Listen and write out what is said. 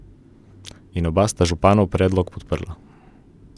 In oba sta županov predlog podprla.